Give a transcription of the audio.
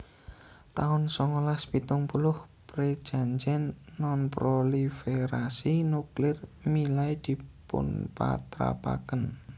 taun songolas pitung puluh Prejanjèn Nonproliferasi Nuklir milai dipunpatrapaken